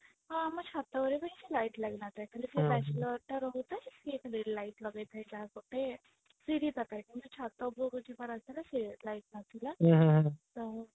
ଆଉ ଆମ ଛାତ ଉପରେ ବି କିଛି light ଲାଗି ନଥାଏ ଖାଲି ସେ bachelor ଟା ରହୁଥାଏ ସେ ଖାଲି light ଲଗେଇଥାଏ ଯାହା ଗୋଟେ ସିଢି ପାଖରେ କିନ୍ତୁ ଛାତ ଉପରକୁ ଯିବା ରାସ୍ତାରେ light ନଥିଲା ତ